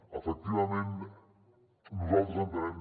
efectivament nosaltres entenem